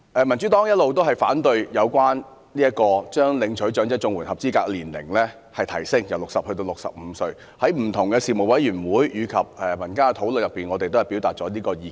民主黨一直反對將領取長者綜援合資格年齡由60歲提高至65歲，在不同的事務委員會及民間討論中，我們均表達這個意見。